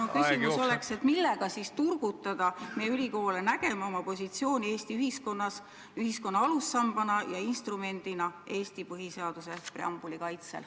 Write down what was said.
Mu küsimus on, et millega siis turgutada meie ülikoole nägema oma positsiooni Eesti ühiskonnas selle alussambana ja instrumendina Eesti põhiseaduse preambuli kaitsel.